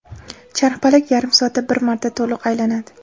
Charxpalak yarim soatda bir marta to‘liq aylanadi.